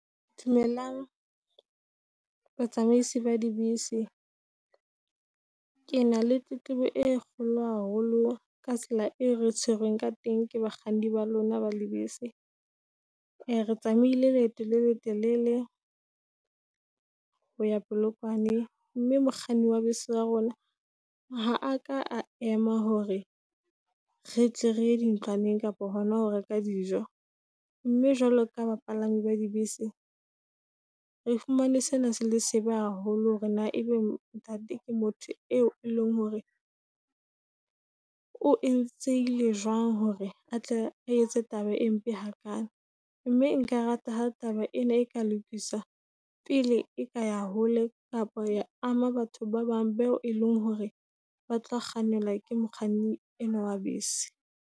Dumelang, ba tsamaisi ba dibese. Ke na le tletlebo e kgolo haholo ka tsela e re tshwerweng ka teng ke bakganni ba lona ba dibese. Ee re tsamaile leeto le letelele ho ya Polokwane. Mme mokganni wa bese wa rona, ha a ka ema hore re tle reye di ntlwaneng, kapa hona ho reka dijo. Mme jwale ka ba palami ba di bese re fumane sena se le sebe haholo. Hore na ebe ntate ke motho eo eleng hore o entse ile le jwang, hore atle a etse taba e mpe hakaalo. Mme nka rata ha taba ena e ka lokiswa pele e ka ya hole, kapa ya ama batho ba bang beo e leng hore ba tlo kgannelwa ke mokganni enwa wa bese.